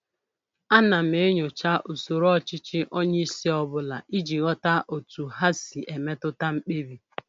Ana m enyocha usoro ọchịchị onye isi ọbụla iji ghọta otu ha si emetụta mkpebi